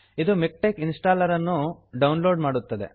ಇದು MiKTeX installer ಅನ್ನು download ಮಾಡುತ್ತದೆ